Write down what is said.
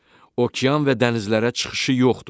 Okean və dənizlərə çıxışı yoxdur.